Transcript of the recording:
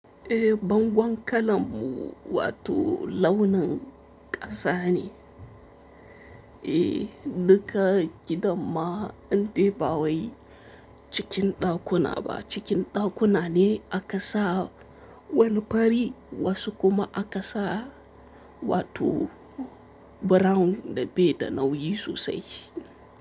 Eh, bangon kalanmu wato launin ƙasa ne. Eh, duka gidan ma in dai ba wai cikin ɗakuna ba cikin ɗakuna ne aka sa wani fari wasu kuma aka sa wato brown da bai da nauyi sosai.